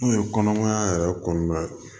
N'o ye kɔnɔmaya yɛrɛ kɔnɔna ye